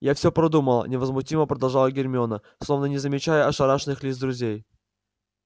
я всё продумала невозмутимо продолжала гермиона словно не замечая ошарашенных лиц друзей